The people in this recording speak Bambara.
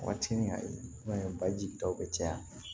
Waati ni a ye i b'a ye baji taw bɛ caya